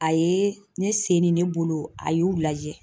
A ye ne sen ni ne bolo a y'u lajɛ